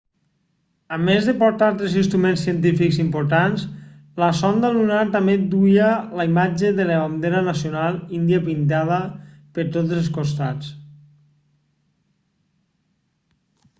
a més de portar tres instruments científics importants la sonda lunar també duia la imatge de la bandera nacional índia pintada per tots els costats